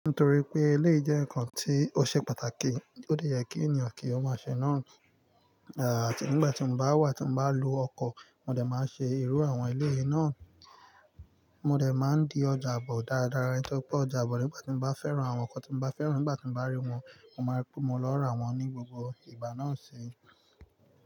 Nítorí pé ilé jẹ́ nǹkan tí ó ṣe pàtàkì, ó dẹ̀ yẹ kí ènìyàn kí ó má ṣe náà. Àti nígbà tí mo bá wà tí mo bá lo ọkọ̀, mo dẹ̀ máa ṣe irú àwọn eléyì náà. Mo dẹ̀ máa di ọjàbọ̀ dáradára nítorí pé ọjàbọ̀ nígbà tí mo bá fẹ́ran àwọn nǹkan tí mo bá fẹ́ran, nígbà tí mo bá rí wọn, mo máa pé mó lọ ra wọn ní gbogbo ìgbà náà sì.